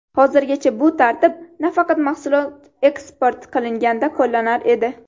Hozirgacha bu tartib faqat mahsulot eksport qilinganda qo‘llanar edi.